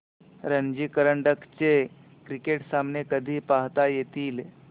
रणजी करंडक चे क्रिकेट सामने कधी पाहता येतील